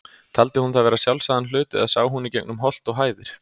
Taldi hún það vera sjálfsagðan hlut, eða sá hún í gegnum holt og hæðir?